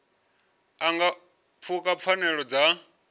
a nga pfuka pfanelo dza